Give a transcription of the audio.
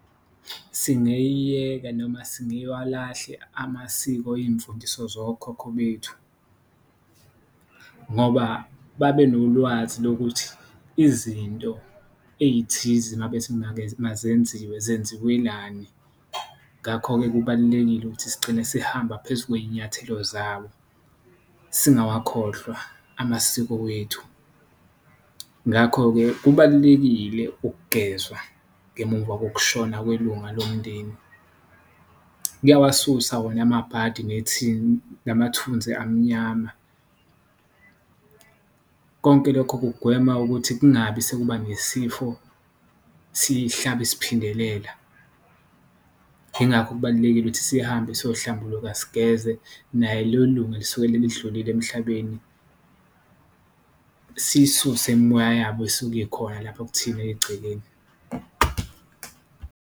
Singeyiyeka noma singewalahle amasiko iyimfundiso zokhokho bethu ngoba babenolwazi lokuthi izinto eyithize uma bethi mazenziwe zenziwelani, ngakho-ke kubalulekile ukuthi sigcine sihamba phezu kweyinyathelo zabo, singawakhohlwa amasiko wethu. Ngakho-ke kubalulekile ukugezwa ngemuva kokushona kwelunga lomndeni, kuyawasusa wona amabhadi namathunzi amnyama , konke lokho kugwema ukuthi kungabi sekuba nesifo, sihlabe siphindelela. Ingakho kubalulekile ukuthi sihambe siyohlambuluka sigeze naye lelo lunga elisuke lidlulile emhlabeni, siyisuse imimoya yabo esuke ikhona lapho kuthina egcekeni.